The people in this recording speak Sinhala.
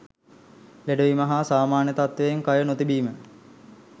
ලෙඩ වීම හා සාමාන්‍ය තත්ත්වයෙන් කය නොතිබීම